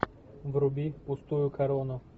вруби пустую корону